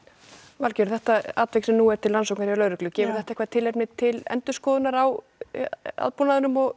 Valgerður þetta atvik sem nú er til rannsóknar hjá lögreglu gefur þetta eitthvað tilefni til endurskoðunar á aðbúnaðnum og